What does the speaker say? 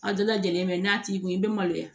A bɛɛ lajɛlen mɛ n'a t'i kun i bɛ maloya